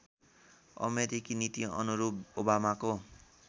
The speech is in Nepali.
अमेरिकी नीतिअनुरूप ओबामाको